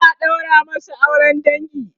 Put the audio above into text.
za'a ɗaura masu auran dangi